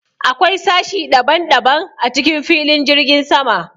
Akwai sashi ɗaban-ɗaban a cikin filin jirgin sama.